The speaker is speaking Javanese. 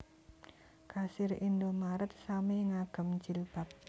Kasir Indomart sami ngagem jilbab